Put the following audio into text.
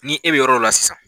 Ni e bɛ yɔrɔ dɔ la sisan